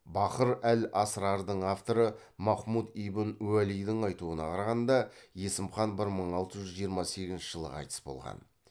бахыр әл асырардың авторы махмұд ибн уәлидің айтуына қарағанда есім хан бір мың алты жүз жиырма сегізінші жылы қайтыс болған